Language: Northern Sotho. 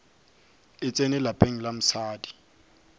e tsene lapeng la mosadi